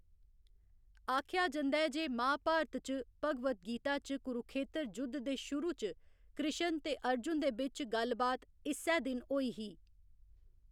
आखेआ जंदा ऐ जे महाभारत च भगवद् गीता च कुरुखेतर जुद्ध दे शुरु च कृश्ण ते अर्जुन दे बिच्च गल्ल बात इस्सै दिन होई ही।